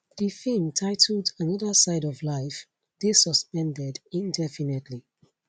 di feem titled another side of life dey suspended indefinitely